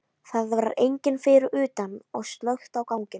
Það var enginn fyrir utan og slökkt á ganginum.